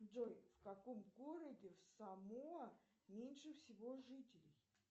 джой в каком городе в самоа меньше всего жителей